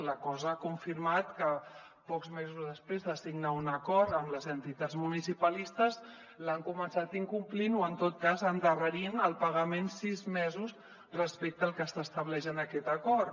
la cosa ha confirmat que pocs mesos després de signar un acord amb les entitats municipalistes l’han començat incomplint o en tot cas endarrerint el pagament sis mesos respecte al que s’estableix en aquest acord